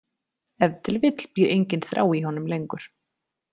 Ef til vill býr engin þrá í honum lengur.